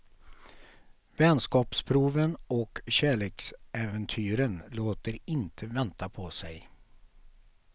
Vänskapsproven och kärleksäventyren låter inte vänta på sig.